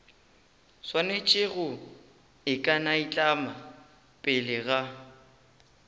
swanetše go ikanaitlama pele ga